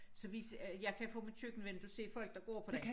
Så vi ser jeg kan fra mit køkkenvindue se folk der går på den